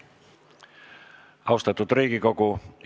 Austatud Riigikogu!